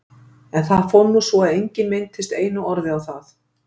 En það fór nú svo að enginn minntist einu orði á það.